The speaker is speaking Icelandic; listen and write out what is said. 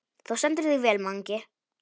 Þú stendur þig vel, Mangi!